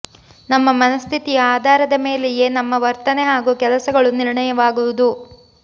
ನಮ್ಮ ಮನಃಸ್ಥಿತಿಯ ಆಧಾರದ ಮೇಲೆಯೇ ನಮ್ಮ ವರ್ತನೆ ಹಾಗೂ ಕೆಲಸಗಳು ನಿರ್ಣಯವಾಗುವುದು